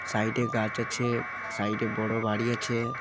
Side -এ গাছ আছে-এ সাইড -এ বড় বাড়ি আছে।